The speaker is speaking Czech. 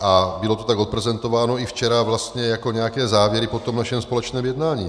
A bylo to tak odprezentováno i včera vlastně jako nějaké závěry po tom našem společném jednání.